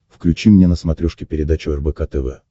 включи мне на смотрешке передачу рбк тв